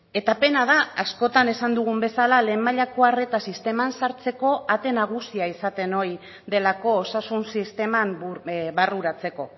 eta pena da askotan esan dugun bezala lehen mailako arreta sisteman sartzeko ate nagusia izaten ohi delako osasun sisteman barruratzeko